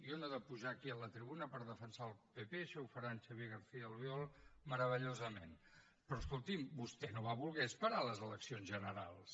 jo no he de pujar aquí a la tribuna per defensar el pp això ho farà en xavier garcía albiol meravellosament però escolti’m vostè no va voler esperar les eleccions generals